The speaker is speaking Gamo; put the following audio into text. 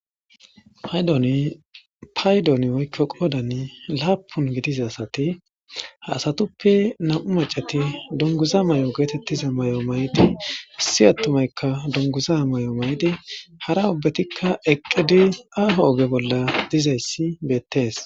paydoni paydoni woykko qoodan laapun gidiz asati ha asatuppe nam7u macati dunguza may7o geetettiza may7o may7di issi attumaykka dunguza may7o may7di hara ubbetikka eqqidi aafo oge bolla dizayssi beettees